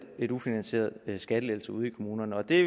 en ufinansieret skattelettelse ude i kommunerne og det